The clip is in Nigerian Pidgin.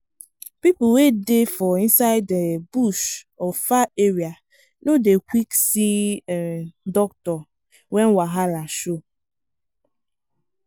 people wey dey for inside um bush or far area no dey quick see um doctor when wahala show.